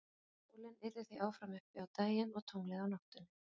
sólin yrði því áfram uppi á daginn og tunglið á nóttunni